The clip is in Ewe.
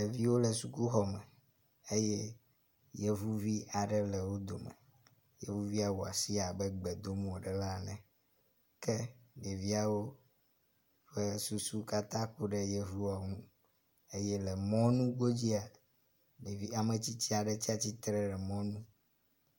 Ɖeviwo le sukuxɔme eye yevuvi aɖe le wo dome. Yevuvia wɔ asi abe gbe dom wo le ɖa ene ke ɖeviawo ƒe susu katã ku ɖe yevua nu.